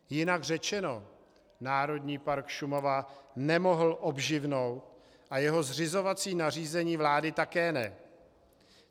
Jinak řečeno, Národní park Šumava nemohl obživnout a jeho zřizovací nařízení vlády také ne.